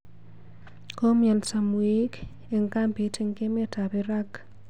Komyonso mweik eng kambiit eng emet ab irag